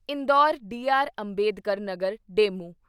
Indore Dr. Ambedkar Nagar DEMU